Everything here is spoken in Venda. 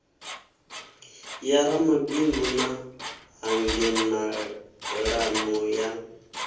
ya ramabindu na hangenalano ya